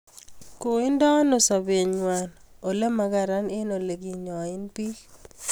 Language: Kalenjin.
koindeno sobengwai ole magararan eng oleginyoen biik